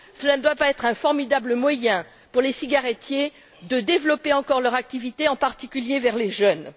Cela ne doit pas être un formidable moyen pour les cigarettiers de développer encore leur activité, en particulier vers les jeunes.